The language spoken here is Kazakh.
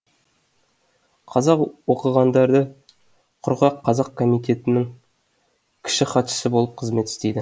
қазақ оқығандары құрған қазақ комитетінің кіші хатшысы болып қызмет істейді